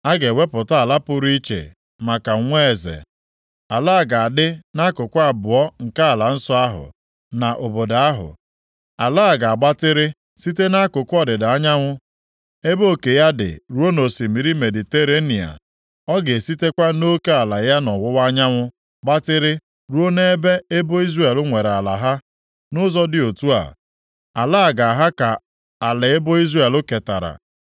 “ ‘A ga-ewepụta ala pụrụ iche maka nwa eze. Ala a ga-adị nʼakụkụ abụọ nke ala nsọ ahụ, na obodo ahụ. Ala a ga-agbatịrị site nʼakụkụ ọdịda anyanwụ ebe oke ya dị ruo nʼosimiri Mediterenịa. Ọ ga-esitekwa nʼoke ala ya nʼọwụwa anyanwụ gbatịrị ruo nʼebe ebo Izrel nwere ala ha. Nʼụzọ dị otu a, ala a ga-aha ka ala ebo Izrel ketara.